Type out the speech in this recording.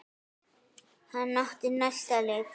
Hann átti næsta leik.